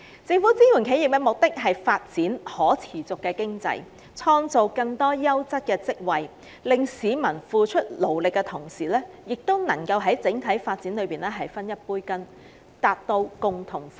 政府支援企業的目的，是為了經濟的可持續發展，並創造更多優質職位，令市民在付出勞力的同時，亦能在整體經濟發展中分一杯羹，達致"共同富裕"。